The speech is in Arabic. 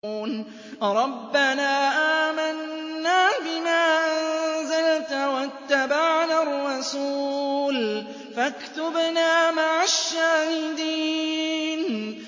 رَبَّنَا آمَنَّا بِمَا أَنزَلْتَ وَاتَّبَعْنَا الرَّسُولَ فَاكْتُبْنَا مَعَ الشَّاهِدِينَ